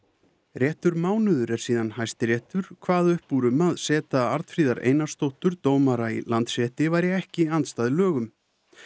réttur mánuður er síðan Hæstiréttur kvað upp úr um að seta Arnfríðar Einarsdóttur dómara í Landsrétti væri ekki andstæð lögum